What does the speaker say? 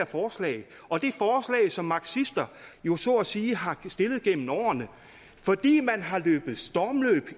forslag som marxister jo så at sige har stillet gennem årene fordi man har løbet stormløb